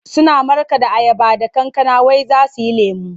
Suna markaɗa ayaba da kankana wai za su yi lemo.